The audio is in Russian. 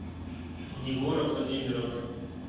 нигора владимировна